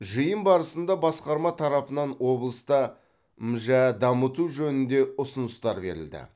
жиын барысында басқарма тарапынан облыста мжә дамыту жөнінде ұсыныстар берілді